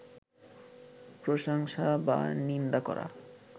প্রশংসা বা নিন্দা করা